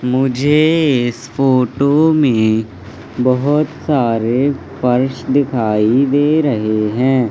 मुझे इस फोटो में बहोत सारे फर्श दिखाई दे रहे हैं।